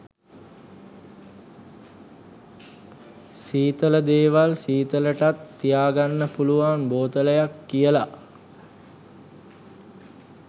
සීතල දේවල් සීතලටත් තියාගන්න පුළුවන් බෝතලයක් කියලා